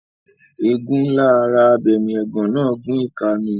Ẹ̀gún ńlá ara abẹmiẹ̀gán náà gún ìka mi.